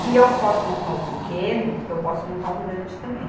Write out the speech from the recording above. Se eu posso montar o pequeno, eu posso montar um grande também.